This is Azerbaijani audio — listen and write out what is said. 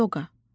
Ayoqa.